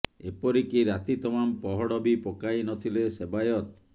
ଏପରିକି ରାତି ତମାମ ପହଡ ବି ପକାଇ ନଥିଲେ ସେବାୟତ